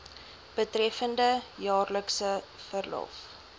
betreffende jaarlikse verlof